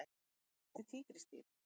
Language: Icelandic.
Spor eftir tígrisdýr.